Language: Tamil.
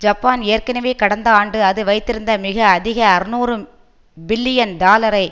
ஜப்பான் ஏற்கனவே கடந்த ஆண்டு அது வைத்திருந்த மிக அதிக அறுநூறு பில்லியன் டாலரை